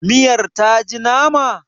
miyar ta ji nama?